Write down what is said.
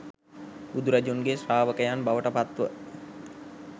බුදුරජුන්ගේ ශ්‍රාවකයන් බවට පත්ව